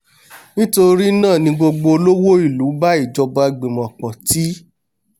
nítorínáà ni gbogbo olówó ìlú bá ìjọba gbìmọ̀ pọ̀ tí